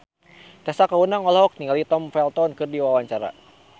Tessa Kaunang olohok ningali Tom Felton keur diwawancara